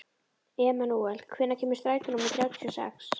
Emanúel, hvenær kemur strætó númer þrjátíu og sex?